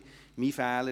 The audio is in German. Es ist mein Fehler.